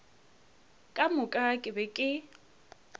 ka moka ke be ke